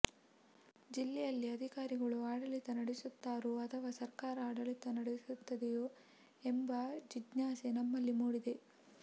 ಜಿಲ್ಲೆಯಲ್ಲಿ ಅಧಿಕಾರಿಗಳು ಆಡಳಿತ ನಡೆಸುತ್ತಾರೋ ಅಥವಾ ಸರ್ಕಾರ ಆಡಳಿತ ನಡೆಸುತ್ತಿದೆಯೋ ಎಂಬ ಜಿಜ್ಞಾಸೆ ನಮ್ಮಲ್ಲಿ ಮೂಡಿದೆ